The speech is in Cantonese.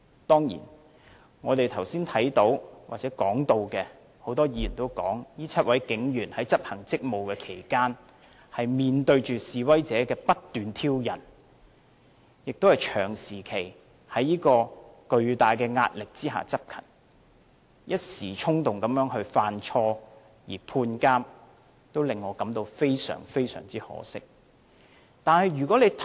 當然，剛才很多議員都提到，這7位警員在執行職務期間面對示威者不斷挑釁，長時期在巨大的壓力下執勤，一時衝動犯錯而被判監，令我感到非常可惜。